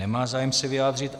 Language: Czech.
Nemá zájem se vyjádřit.